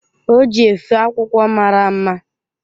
O ji efe akwụkwọ mara mma.